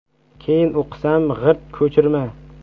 Keyin o‘qisam, g‘irt ko‘chirma.